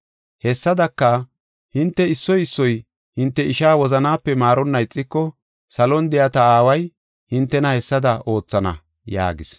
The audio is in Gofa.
“Hessadaka, hinte issoy issoy hinte ishaa wozanape maaronna ixiko salon de7iya ta Aaway hintena hessada oothana” yaagis.